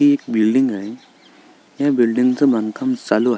ही एक बिल्डिंग आहे या बिल्डिंग च बांधकाम चालू आहे.